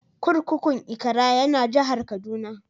Kurkukun Ikara ya na jihar Kaduna.